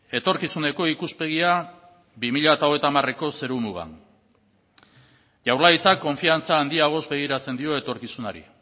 etorkizuneko ikuspegia bi mila hogeita hamareko zerumugan jaurlaritzak konfiantza handiagoz begiratzen dio etorkizunari